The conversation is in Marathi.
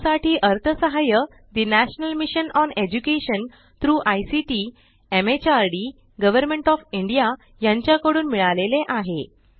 यासाठी अर्थसहाय्य ठे national mission on education through ICT MHRD government of India यांच्या कडून मिळाले आहे